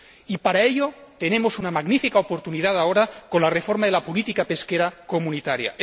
Y para ello tenemos una magnífica oportunidad ahora con la reforma de la política pesquera comunitaria.